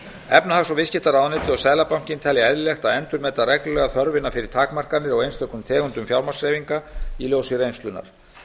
efnahags og viðskiptaráðuneytið og seðlabankinn telja eðlilegt að endurmeta reglulega þörfina fyrir takmarkanir á einstökum tegundum fjármagnshreyfinga í ljósi reynslunnar